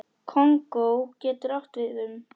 Kongó getur átt við um